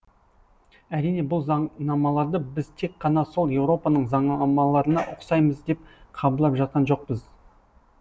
әрине бұл заңнамаларды біз тек қана сол еуропаның заңнамаларына ұқсаймыз деп қабылдап жатқан жоқпыз